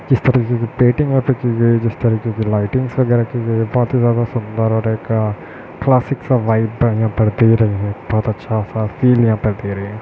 जिस तारीके की पेंटिंग यहाँ पे की गई है जिस तरीके की लइटिंग्स वगैरा की गई है बहुत ही ज्यादा सूंदर और एक क्लासिक सा वाइब यहाँ पर दे रही है बहुत अच्छा सा फील यहाँ पर दे रही है।